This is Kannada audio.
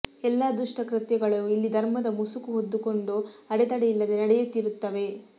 ಎಲ್ಲ ದುಷ್ಟಕೃತ್ಯಗಳೂ ಇಲ್ಲಿ ಧರ್ಮದ ಮುಸುಕು ಹೊದ್ದುಕೊಂಡು ಅಡೆತಡೆ ಇಲ್ಲದೆ ನಡೆಯುತ್ತಿರುತ್ತವೆ